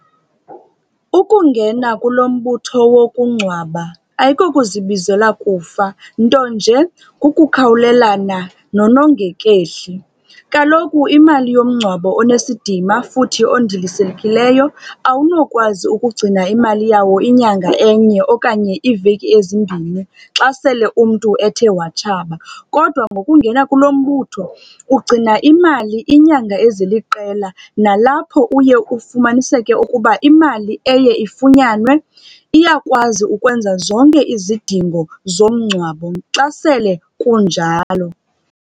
Ukungena kulo mbutho wokungcwaba ayikokuzibizela kufa, nto nje kukukhawulelana nonongekehli. Kaloku imali yomngcwabo onesidima futhi ondilisekileyo awunokwazi ukugcina imali yawo inyanga enye okanye iiveki ezimbini xa sele umntu ethe watshaba. Kodwa ngokungena kulo mbutho ugcina imali iinyanga eziliqela, nalapho uye ufumaniseke ukuba imali eye ifunyanwe iyakwazi ukwenza zonke izidingo zomngcwabo xa sele kunjalo.